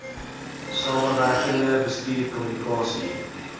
samewerkende bestuur kommunikasie